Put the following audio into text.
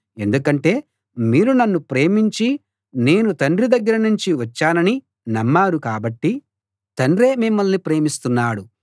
ఎందుకంటే మీరు నన్ను ప్రేమించి నేను తండ్రి దగ్గర నుంచి వచ్చానని నమ్మారు కాబట్టి తండ్రే మిమ్మల్ని ప్రేమిస్తున్నాడు